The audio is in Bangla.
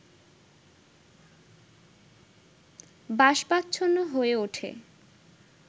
বাষ্পাচ্ছন্ন হয়ে ওঠে